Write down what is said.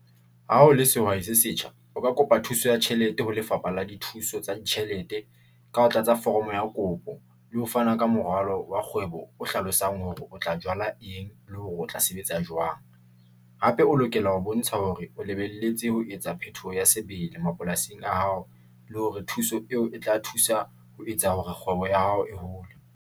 Ha o le sehwai se setjha, o ka kopa thuso ya tjhelete ha Lefapha la Dithuso tsa Ditjhelete ka ho tlatsa foromo ya kopo le ho fana ka morwalo wa kgwebo o hlalosang hore o tla thola eng le hore o tla sebetsa jwang. Hape o lokela ho bontsha hore o lebelletse ho etsa phetoho ya sebele mapolasing a hao le hore thuso eo e tla thusa ho etsa hore kgwebo ya hao e hole.